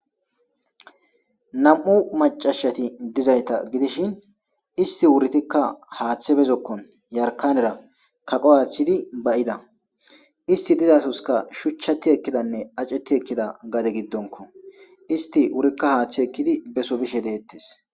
Nam'u macashati diyo ga gidishin isti wutitikka.hathe be zokon yarkanera kaqo athidi ba'ida isti dizasoskka shuchati ekidanne acheti ekida gade gidonko isti wurikka hathe ekidi beso bishe detes